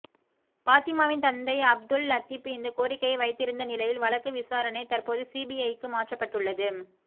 பாத்திமாவின் தந்தை அப்துல் லத்தீப் இந்தக் கோரிக்கையை வைத்திருந்த நிலையில் வழக்கு விசாரணை தற்போது சிபிஐக்கு மாற்றப்பட்டுள்ளது